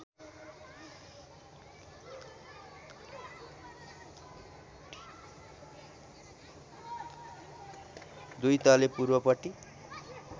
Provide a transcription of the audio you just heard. दुई तले पूर्वपट्टि